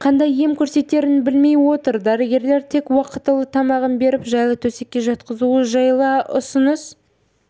қандай ем көрсетерін білмей отыр дәрігерлер тек уақтылы тамағын беріп жайлы төсекке жатқызу жайлы ұсыныс